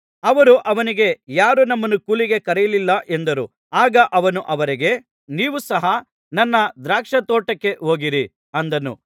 ಅವರು ಅವನಿಗೆ ಯಾರೂ ನಮ್ಮನ್ನು ಕೂಲಿಗೆ ಕರೆಯಲಿಲ್ಲ ಎಂದರು ಆಗ ಅವನು ಅವರಿಗೆ ನೀವು ಸಹ ನನ್ನ ದ್ರಾಕ್ಷಾತೋಟಕ್ಕೆ ಹೋಗಿರಿ ಅಂದನು